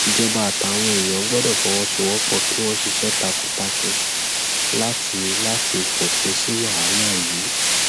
ìjọba àtàwọn èèyàn gbọdọ fọwọsowọpọ kí wọn ṣiṣẹ takuntakun láti láti fòpin sí wàhálà yìí